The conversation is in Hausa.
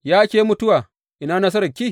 Ya ke mutuwa, ina nasararki?